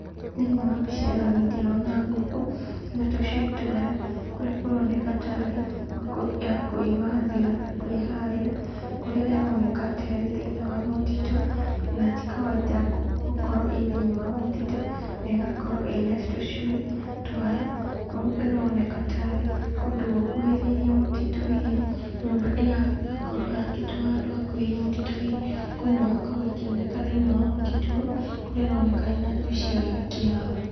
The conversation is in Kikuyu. Thĩiniĩ wa mbica ĩno niĩ ndĩrona ngũkũ na tũcui twayo, kũrĩa kũroneka ta rĩ ngũkũ ya kwĩmathĩra na kwĩharĩra, kũrĩa ĩroneka ta ĩrĩ thĩiniĩ wa mũtitũ na ti kawainda ngũkũ gũkorwo ĩ thĩiniĩ wa mũtitũ, na ĩgakorwo ĩna tũcui twayo. Kũu ĩroneka ta arĩ kũndũ gũkuhĩrĩirie mũtitũ hihi, nyũmba ĩgakorwo yakĩtwo handũ hakuhĩrĩirie mũtitũ hihi, ngũkũ ĩno ĩgakorwo ĩkĩoneka thĩiniĩ wa mũtitũ ũyũ kũrĩa ĩroneka ĩna njui ciayo ĩkĩhaara.